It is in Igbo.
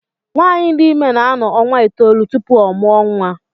Nwaanyị dị ime na-anọ ọnwa itoolu tupu ọ mụọ nwa.